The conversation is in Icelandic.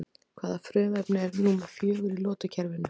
Hvaða frumefni er númer fjögur í lotukerfinu?